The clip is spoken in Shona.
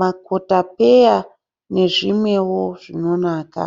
makotopeya nezvimwewo zvinonaka